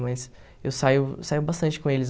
Mas eu saio saio bastante com eles.